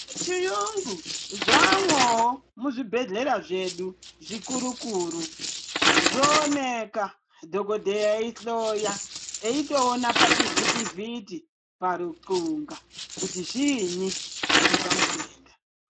Zvechiyungu zvamwovo muzvibhedhlera zvedu zvikuru-kuru. Zvooneka dhogodheya eihloya eitoona pachivhitivhiti parutxunga kuti zviini zviri pamutenda.